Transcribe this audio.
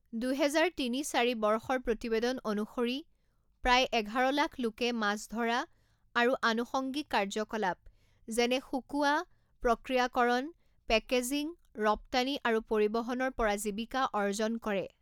দুহেজাৰ তিনি চাৰি বৰ্ষৰ প্ৰতিবেদন অনুসৰি, প্ৰায় এঘাৰ লাখ লোকে মাছ ধৰা আৰু আনুষঙ্গিক কাৰ্যকলাপ যেনে শুকোৱা, প্ৰক্ৰিয়াকৰণ, পেকেজিং, ৰপ্তানি আৰু পৰিবহনৰ পৰা জীৱিকা অৰ্জন কৰে।